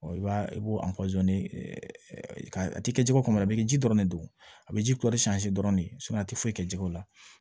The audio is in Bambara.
i b'a i b'o a tɛ kɛ jiko kɔnɔna na a bɛ kɛ ji ji dɔrɔn de don a bɛ ji kɔri dɔrɔn de a tɛ foyi kɛ ji ko la